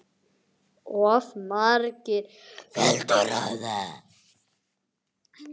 Of margir vildu ráða.